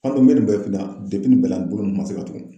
kun bɛ nin bɛɛ kunna nin bɛɛ la bolo ma se ka tugu.